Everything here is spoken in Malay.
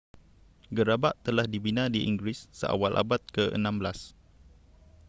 gerabak telah dibina di inggeris seawal abad ke-16